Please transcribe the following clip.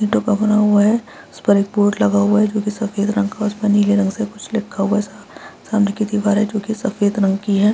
ईटों का बना हुआ है उस पर एक बोर्ड बना हुआ है जो की सफ़ेद रंग का है जो की नीले रंग से कुछ लिखा हुआ है सामने की दिवारे जो की सफ़ेद रंग की है।